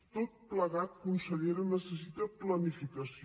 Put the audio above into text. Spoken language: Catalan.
tot plegat consellera necessita planificació